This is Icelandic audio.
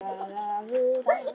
Og hún meinti það.